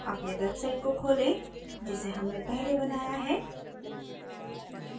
अपने website को खोलें जिसे हमने पहले बनाया है